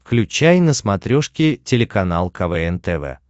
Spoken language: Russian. включай на смотрешке телеканал квн тв